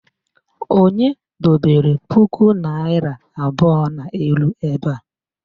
Onye dobere puku naịra abụọ n'elu ebe a?